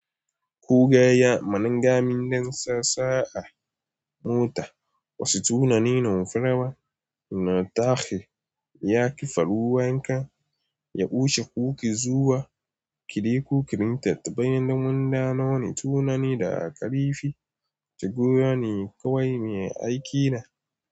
Ku gaya mana gaminden sassa a mota. Wasu tunanin in furewa na tashi, ya kifa ruwa in ka yaushe kuka zuwa, kiɗe kukirin tattaunai da munda nono tunani daga ƙarifi, shigoyi ne kawai mai aiki da.